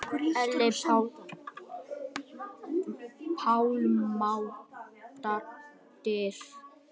Elín Pálmadóttir